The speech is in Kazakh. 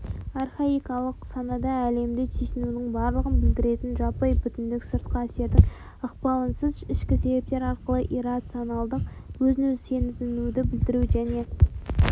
архаикалық санада әлемді түйсінудің барлығын білдіретін жаппай бүтіндік сыртқы әсердің ықпалынсыз ішкі себептер арқылы иррационалдық өзін-өзі сезінуді білдіру және